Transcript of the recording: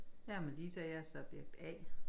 Jeg er Melissa jeg er subjekt A